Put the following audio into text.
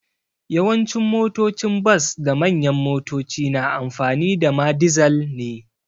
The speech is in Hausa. Yawancin motocin bas da manyan motoci na amfani da ma dizal ne.